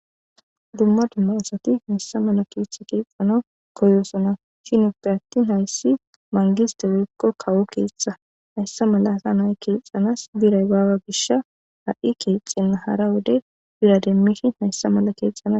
dumma dumma asati hayssa mala keeththa keepana koyosona shin uppe attin hayssi mangisteweekko kawo keeththa hayssa mala asa nay keexanas biray baawa gish ha7i keexenna hara wode birademmishi hayssa mala keexxana